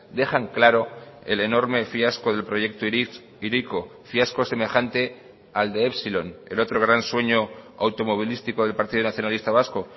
dejan claro el enorme fiasco del proyecto hiriko fiasco semejante al de epsilon el otro gran sueño automovilístico del partido nacionalista vasco